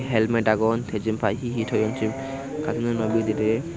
helmet agon te jen paai hi hi toyon siyun katununo bidirey.